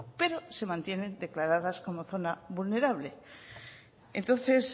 pero se mantienen declaradas como zona vulnerable entonces